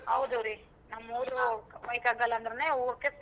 ಹೌದು ರಿ ನಮ್ಮೂರು ಅಂದ್ರೆನೆ ಹೂವಕ್ಕೆ.